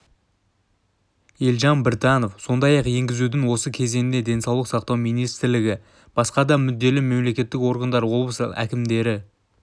елжан біртанов сондай-ақ енгізудің осы кезеңінде денсаулық сақтау министрлігі басқа да мүдделі мемлекеттік органдар облыс әкімдіктері